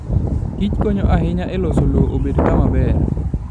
Kich konyo ahinya e loso lowo obed kama ber.